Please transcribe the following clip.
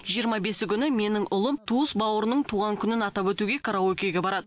жиырма бесі күні менің ұлым туыс бауырының туған күнін атап өтуге караокеге барады